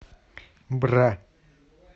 бра